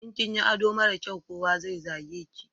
In kinyi ado mara kyai, kowa zai zage ki